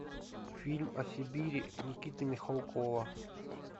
фильм о сибири никиты михалкова